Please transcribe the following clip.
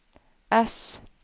ess